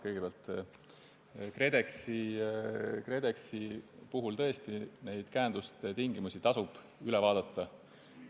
Kõigepealt, KredExi puhul tõesti tasub käenduste tingimused üle vaadata.